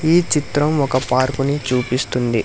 ఈ చిత్రం ఒక పార్కుని చూపిస్తుంది.